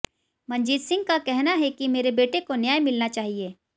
मंजीत सिंह का कनहा है कि मेरे बेटे को न्याय मिलना चाहिए